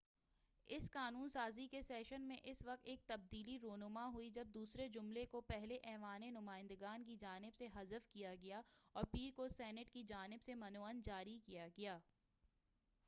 اس قانون سازی کے سیشن میں اس وقت ایک تبدیلی رونما ہوئی جب دوسرے جملے کو پہلے ایوانِ نمائندگان کی جانب سے حذف کیا گیا اور پیر کو سینٹ کی جانب سے من و عن جاری کیا گیا